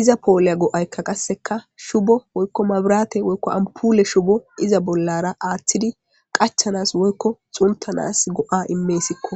iza pooleya go7aykka qasseka shubo woykko mabiraate woykko ampule shubo iza bollara aaththidi qachanas woykko xuntanas go7a immeesikko.